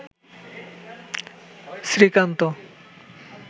Srikanta